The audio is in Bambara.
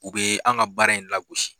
U bɛ an ka baara in la gosi.